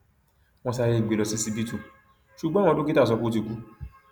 wọn sáré gbé e lọ ṣíṣíbítú ṣùgbọn àwọn dókítà sọ pé ó ti kú